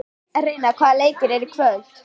Reynar, hvaða leikir eru í kvöld?